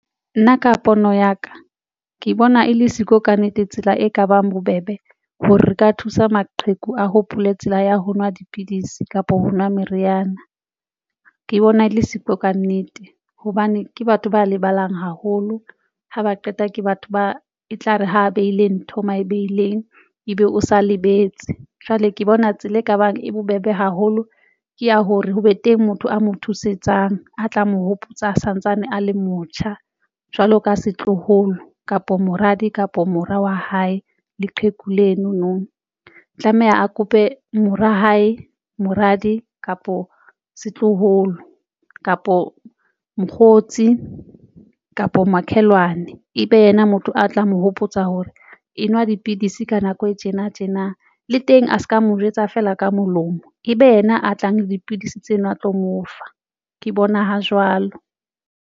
Nna ka pono ya ka, ke bona e le siko kannete tsela e kabang bobebe hore re ka thusa maqheku, a hopole tsela ya ho nwa dipidisi kapa ho nwa meriana. Ke bona e le siko kannete hobane ke batho ba lebalang haholo ha ba qeta ke batho ba e tlare ha behile ntho mabehileng ebe o sa lebetse jwale ke bona tsela e ka bang e bobebe haholo ke ya hore ho be teng motho a mo thusetsang a tla mo hopotsa santsane a le motjha jwalo ka setloholo kapo moradi kapa mora wa hae leqheku leno no tlameha a kope mora hae, moradi kapo setloholo kapo mokgotsi kapa makhelwane ebe yena motho a tlang mo hopotsa hore e nwa dipidisi ka nako e tjena, le teng a se ka mo jwetsa fela ka molomo ebe yena a tlang dipidisi tseno a tlo mo fa ke bona ho jwalo.